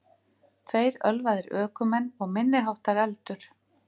Tveir ölvaðir ökumenn og minniháttar eldur